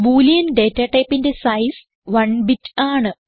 boolean data ടൈപ്പിന്റെ size 1 bit ആണ്